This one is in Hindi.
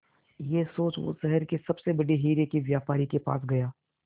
यह सोच वो शहर के सबसे बड़े हीरे के व्यापारी के पास गया